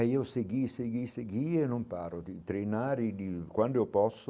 Aí eu segui, segui, segui e não paro de treinar e de quando eu posso.